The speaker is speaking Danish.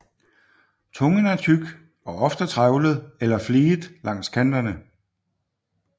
Tungen er tyk og ofte trævlet eller fliget langs kanterne